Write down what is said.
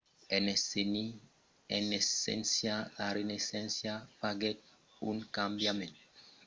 en esséncia la renaissença faguèt un cambiament significatiu dins l'apròchi de l'aprendissatge e la disseminacion del saber